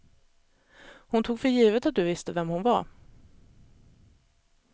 Hon tog för givet att du visste vem hon var.